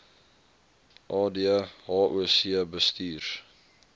ad hoc bestuurs